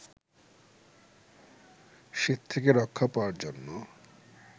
শীত থেকে রক্ষা পাওয়ার জন্য